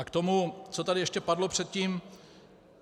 A k tomu, co tady ještě padlo předtím.